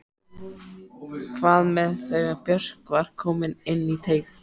Hvað með þegar Björk var komin inn í teig?